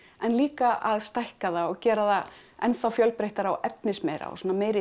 en líka að stækka það og gera það enn þá fjölbreyttara og efnismeira og svona meiri